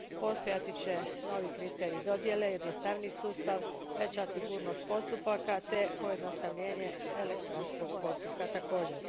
Postojati će novi kriteriji dodijele, jednostavniji sustav, veća sigurnost postupaka te pojednostavljenje elektronskog postupka također.